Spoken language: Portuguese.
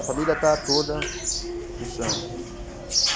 A família está toda no samba.